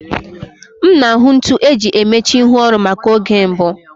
M na-ahụ ntu eji emechi ihu oru maka oge mbụ